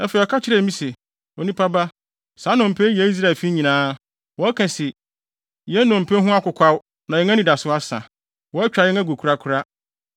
Afei ɔka kyerɛɛ me se, “Onipa ba, saa nnompe yi yɛ Israelfi nyinaa. Wɔka se: ‘Yɛn nnompe ho akokwaw na yɛn anidaso asa, wɔatwa yɛn agu korakora.’